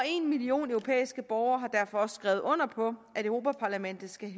en million europæiske borgere har derfor også skrevet under på at europa parlamentet skal